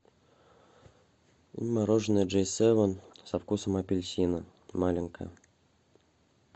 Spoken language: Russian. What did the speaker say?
мороженое джей севен со вкусом апельсина маленькое